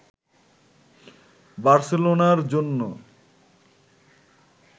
বার্সেলোনার জন্য